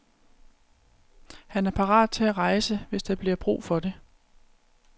Han er parat til at rejse, hvis der bliver brug for det.